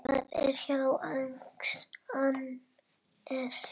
Það er þá Agnes!